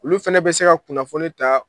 Olu fɛnɛ bɛ se ka kunnafoni ta